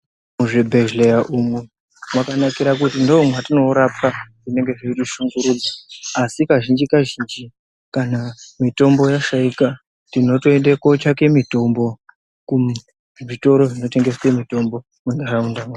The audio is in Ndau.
Muzvibhedheya umwu mwakanakira kuti ndomwatoorapwa zvinenge zveitishungurudza asi kazhinji kazhinji kana mitombo yashaika tinotoende kotsvake mitombo kuzvitoro zvinotengeswe mitombo munharaunda mwedu.